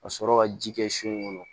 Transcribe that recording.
Ka sɔrɔ ka ji kɛ sun kɔnɔ